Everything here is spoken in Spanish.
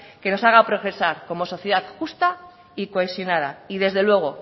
que nos haga progresar como sociedad justa y cohesionada y desde luego